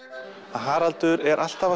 Haraldur er alltaf